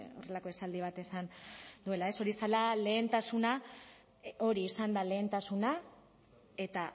horrelako esaldi bat esan duela ez hori zela lehentasuna hori izan da lehentasuna eta